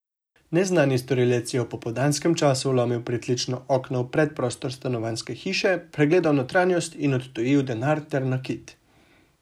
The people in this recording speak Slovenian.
Neznani storilec je v popoldanskem času vlomil pritlično okno v predprostor stanovanjske hiše, pregledal notranjost in odtujil denar ter nakit.